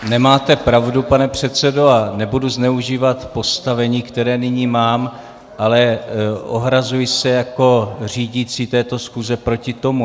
Nemáte pravdu, pane předsedo, a nebudu zneužívat postavení, které nyní mám, ale ohrazuji se jako řídící této schůze proti tomu.